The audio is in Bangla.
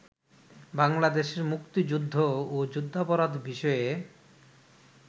বাংলাদেশের মুক্তিযুদ্ধ ও যুদ্ধাপরাধ বিষয়ে